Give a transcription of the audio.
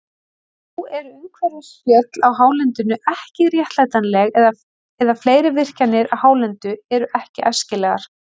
Nú eru umhverfisspjöll á hálendinu ekki réttlætanleg, eða fleiri virkjanir á hálendinu eru ekki æskilegar.